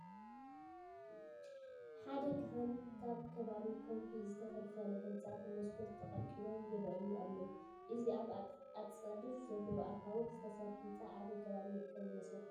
ሓደ ካህን ኣብ ካብ ከዋሒ ዝተፈልፈለ ህንፃ ብመስኮት ተቐልቂሎም ይርአዩ ኣለዉ፡፡ እዚ ኣብ ኣፃድፍ ዘለዉ ኣኻውሕ ዝተሰርሐ ህንፃ ኣበይ ከባቢ ዝርከብ ይመስለኩም?